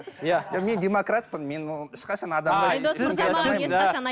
иә мен демократпын мен оған ешқашан